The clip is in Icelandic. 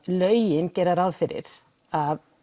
lögin gera ráð fyrir að